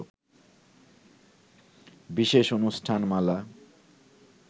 বিশেষ অনুষ্ঠান মালা